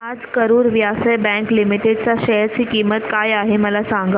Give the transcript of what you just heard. आज Karur Vysya bank limited च्या share ची किंमत काय आहे मला सांगा